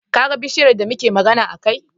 Kaga bishiyar da muke magana a kai?